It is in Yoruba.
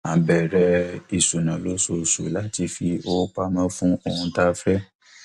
a bèrè ìṣúná lóṣooṣù láti fi owó pamọ fún ohun tá a fẹ